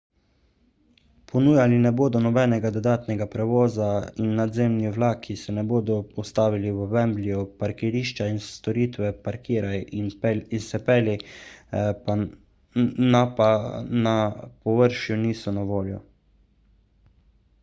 ponujali ne bodo nobenega dodatnega prevoza in nadzemni vlaki se ne bodo ustavljali v wembleyu parkirišča in storitve parkiraj in se pelji na pa na površju niso na voljo